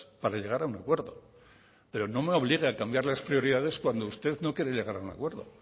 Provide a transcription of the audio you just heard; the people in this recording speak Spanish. para llegar a un acuerdo pero no me obligue a cambiar las prioridades cuando usted no quiere llegar a un acuerdo